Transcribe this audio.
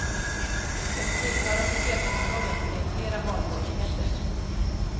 Den tillhörande fjärrkontrollen ger flera valmöjligheter.